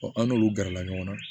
an n'olu gɛrɛla ɲɔgɔn na